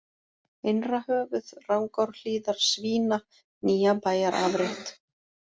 Innrahöfuð, Rangárhlíðar, Svína, Nýjabæjarafrétt